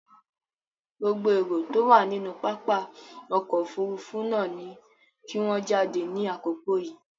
Gbogbo erò tó wà nínú pápá ọkọ̀ òfurufú náà ni kí wọ́n jáde ní àkókò yìí!